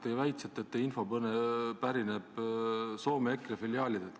Te väitsite, et teie info pärineb Soome EKRE filiaalidelt.